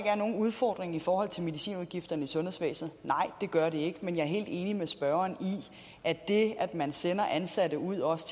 er nogen udfordring i forhold til medicinudgifterne i sundhedsvæsenet nej det gør det ikke men jeg er helt enig med spørgeren i at det at man sender ansatte ud også